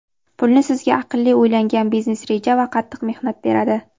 Pulni sizga aqlli o‘ylangan biznes reja va qattiq mehnat beradi.